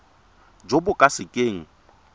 jo bo ka se keng